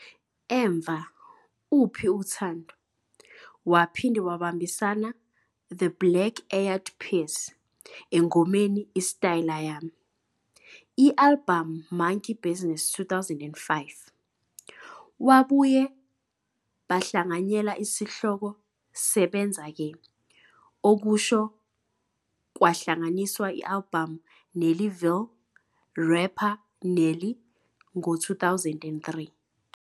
Emva "Uphi uthando?", Waphinde wabambisana The Black Eyed Peas engomeni "isitayela Yami" albhamu Monkey Business, 2005. Wabuye bahlanganyela isihloko "Sebenza ke", okusho kwahlanganiswa albhamu Nellyville, rapper Nelly ngo-2003.